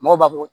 Mɔgɔw b'a fɔ ko